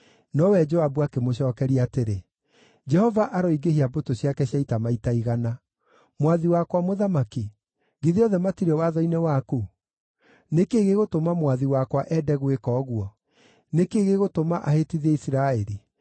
Nowe Joabu akĩmũcookeria atĩrĩ, “Jehova aroingĩhia mbũtũ ciake cia ita maita igana. Mwathi wakwa mũthamaki, githĩ othe matirĩ watho-inĩ waku? Nĩ kĩĩ gĩgũtũma mwathi wakwa ende gwĩka ũguo? Nĩ kĩĩ gĩgũtũma ahĩtithie Isiraeli?”